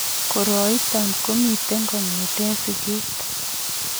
Koroiton komiten kong'eteen sikeet